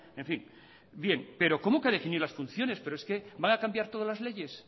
en fin bien pero cómo que definir las funciones pero es que van a cambiar todas las leyes